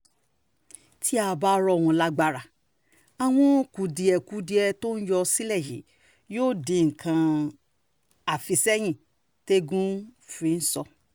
tí a bá rọ̀ wọ́n lágbára àwọn kùdìẹ̀-kùdìẹ tó ń yọ sílẹ̀ yìí yóò di nǹkan àfisẹ́yìn tẹ́ẹ́gun ń fìṣó